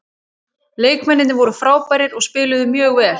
Leikmennirnir voru frábærir og spiluðu mjög vel.